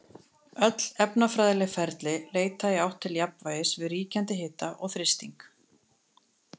Öll efnafræðileg ferli leita í átt til jafnvægis við ríkjandi hita og þrýsting.